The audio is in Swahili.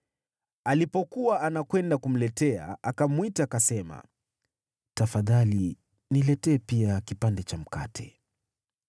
Alipokuwa anakwenda kumletea, akamwita akasema, “Tafadhali niletee pia kipande cha mkate.”